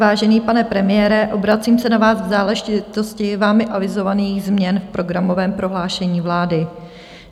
Vážený pane premiére, obracím se na vás v záležitosti vámi avizovaných změn v programovém prohlášení vlády.